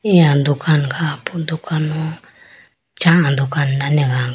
eya dukan kha po dukan ho chah dukhan dane eyane kha po.